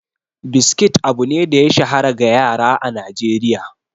Biskit abu ne da ya shahara ga yara a Najeriya.